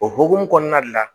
O hokumu kɔnɔna de la